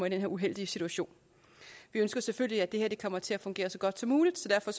i den her uheldige situation vi ønsker selvfølgelig at det her kommer til at fungere så godt som muligt så derfor